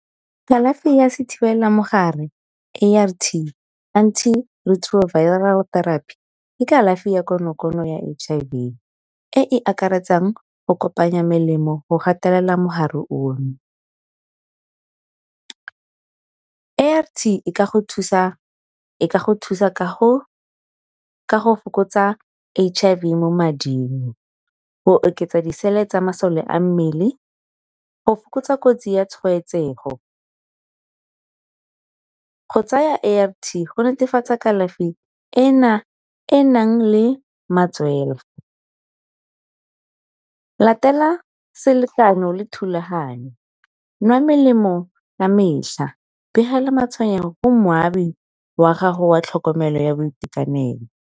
Kalafi ya se thibela mogare A_R_T antiretroviral therapy ke kalafi ya konokono ya H_I_V e e akaretsang go kopanya melemo go gatelela mogare ono. A_R_T e ka go thusa ka ka go fokotsa H_I_V mo mading. Go oketsa di-cell tsa masole a mmele, go fokotsa kotsi ya tshwaetsego, go tsaya A_R_T go netefatsa kalafi ena e nang le matswela, latela selekano le thulaganyo nwa melemo ka mehla, begela matshwenyego go moabi wa gago wa tlhokomelo ya boitekanelo.